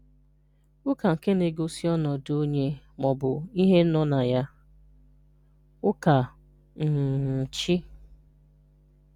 Ụ́ka nke na-egosi ọnọdụ onye ma ọ̀bụ̀ ihe nọ na ya (ụ́ka um chí)